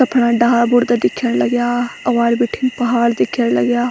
यख फ़ना डाला बुरदा दिख्येण लग्याँ अग्वाड़ी बिठिन पहाड़ दिख्येण लग्याँ।